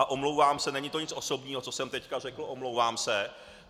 A omlouvám se, není to nic osobního, co jsem teď řekl, omlouvám se.